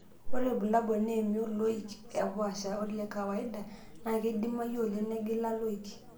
Ore ilbulabul naa emion, loik oopaasha ole kawaida, naa keidimayu oleng' negila loik.